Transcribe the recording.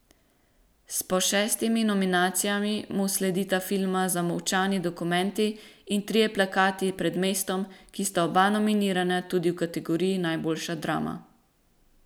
S po šestimi nominacijami mu sledita filma Zamolčani dokumenti in Trije plakati pred mestom, ki sta oba nominirana tudi v kategoriji najboljša drama.